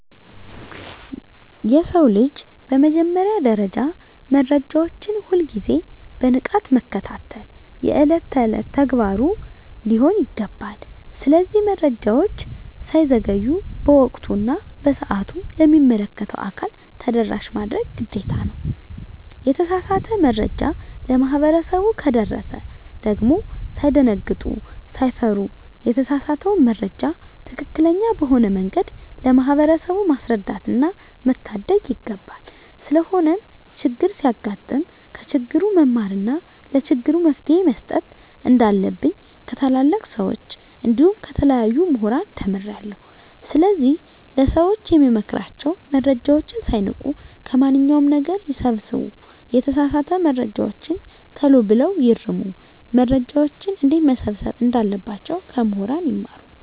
የሰው ልጅ በመጀመሪያ ደረጃ መረጃዎችን ሁል ግዜ በንቃት መከታተል የእለት እለት ተግባሩ ሊሆን ይገባል። ስለዚህ መረጃወች ሳይዘገዩ በወቅቱ እና በሰአቱ ለሚመለከተው አካል ተደራሽ ማድረግ ግዴታ ነው። የተሳሳተ መረጃ ለማህበረሰቡ ከደረሰ ደግም ሳይደነግጡ ሳይፈሩ የተሳሳተውን መረጃ ትክክለኛ በሆነ መንገድ ለማህበረሰቡ ማስረዳትና መታደግ ይገባል። ስለሆነም ቸግር ሲያጋጥም ከችግሩ መማርና ለችግሩ መፈትሄ መስጠት እንንዳለብኝ ከታላላቅ ሰወች እንዲሁም ከተለያዩ ሙህራን ተምሬአለሁ። ስለዚህ ለሰወች የምመክራቸው መረጃወችን ሳይንቁ ከማንኛው ነገር ይሰብስቡ የተሳሳተ መረጃወችን ተሎ ብለው ይርሙ። መረጃወችን እንዴትመሰብሰብ እንዳለባቸው ከሙህራን ይማሩ።